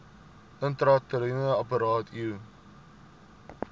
intrauteriene apparaat iua